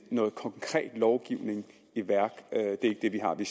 noget konkret lovgivning i værk det er ikke det vi har vi